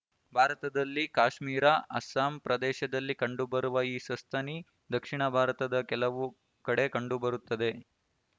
ಭಾರತದಲ್ಲಿ ಕಾಶ್ಮೀರ ಅಸ್ಸಾಂ ಪ್ರದೇಶದಲ್ಲಿ ಕಂಡುಬರುವ ಈ ಸಸ್ತನಿ ದಕ್ಷಿಣ ಭಾರತದ ಕೆಲವು ಕಡೆ ಕಂಡುಬರುತ್ತದೆ